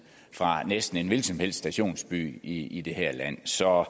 fra næsten en hvilken som helst stationsby i det her land så